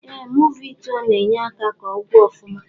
Eeh movi ituo na enye aka ka ọgwụ ofụma.